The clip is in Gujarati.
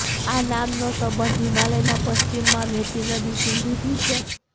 આ નામ નો સંબંધ હિમાલય ના પશ્ચિમ માં વહેતી નદી સિંધુ થી છે